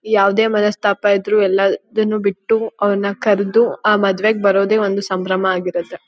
ಯಾವದೇ ಮನಸ್ತಾಪ ಇದ್ರೂ ಎಳದನ್ನು ಬಿಟ್ಟು ಅವರನ್ನ ಕರ್ದು ಆ ಮದುವೆಗೆ ಬರೋದೇ ಒಂದೇ ಸಂಭ್ರಮ ಆಗಿರುತ್ತೆ.